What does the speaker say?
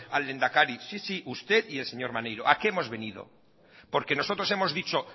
del lehendakari sí sí usted y el señor maneiro a qué hemos venido nosotros hemos dicho